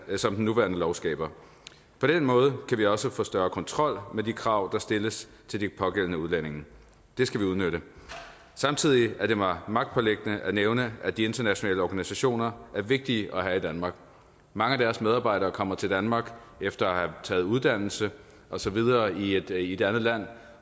som den nuværende lov skaber på den måde kan vi også få større kontrol med de krav der stilles til de pågældende udlændinge det skal vi udnytte samtidig er det mig magtpåliggende at nævne at de internationale organisationer er vigtige at have i danmark mange af deres medarbejdere kommer til danmark efter at have taget uddannelse og så videre i et et andet land